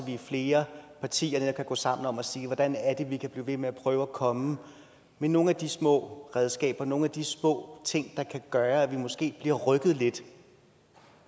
vi er flere partier der kan gå sammen om at sige hvordan det er vi kan blive ved med at prøve med at komme med nogle af de små redskaber nogle af de små ting der kan gøre at vi måske bliver rykket lidt